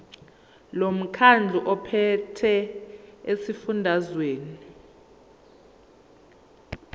lomkhandlu ophethe esifundazweni